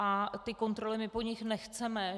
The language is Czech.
A ty kontroly my po nich nechceme.